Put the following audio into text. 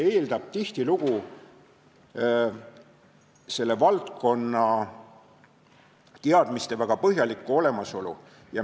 Nendes olukordades eeldatakse tihtilugu väga põhjalikke valdkonnateadmisi.